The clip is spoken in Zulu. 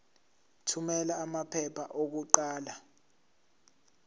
thumela amaphepha okuqala